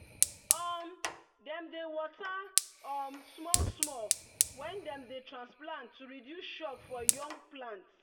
um dem dey water um small-small when dem dey transplant to reduce shock for young plant.